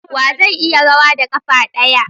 Wa zai iya rawa da kafa daya?